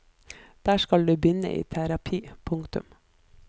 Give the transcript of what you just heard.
Der skal du begynne i terapi. punktum